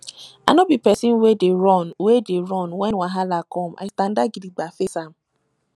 i nor be pesin wey dey run wey dey run wen wahala come i standa gidigba face am